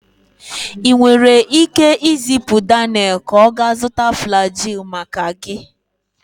Ị nwere ike izipu Daniel ka ọ gaa zụta Flagyl maka gị